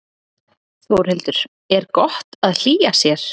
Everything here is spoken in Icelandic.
Þórhildur: Er gott að hlýja sér?